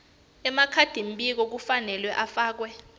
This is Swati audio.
emakhadimbiko kufanele afake